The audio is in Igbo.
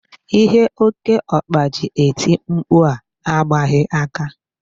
Ihe okeokpa ji eti mkpu a agbaghị aka.